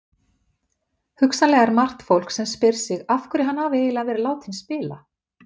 Hugsanlega er margt fólk sem spyr sig af hverju hann hafi eiginlega verið látinn spila?